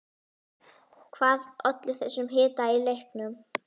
Hvað olli þessum hita í leiknum?